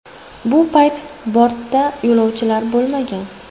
Bu payt bortda yo‘lovchilar bo‘lmagan.